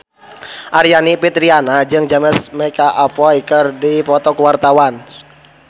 Aryani Fitriana jeung James McAvoy keur dipoto ku wartawan